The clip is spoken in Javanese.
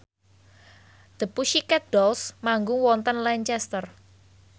The Pussycat Dolls manggung wonten Lancaster